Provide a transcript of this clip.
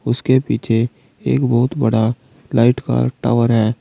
उसके पीछे एक बहुत बड़ा लाइट का टावर है।